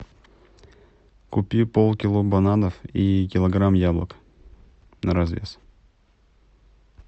купи полкило бананов и килограмм яблок на развес